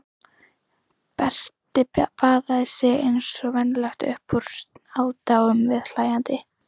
Berti baðaði sig eins og venjulega upp úr aðdáun viðhlæjenda.